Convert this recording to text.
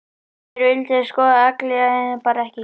Ég vildi að ég væri skotin í Agli, en ég er það bara ekki.